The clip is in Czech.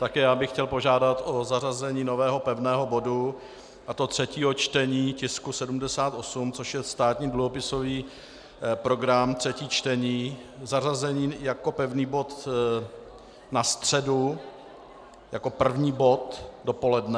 Také já bych chtěl požádat o zařazení nového pevného bodu, a to třetího čtení tisku 78, což je státní dluhopisový program, třetí čtení - zařazení jako pevný bod na středu jako první bod dopoledne.